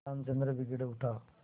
रामचंद्र बिगड़ उठा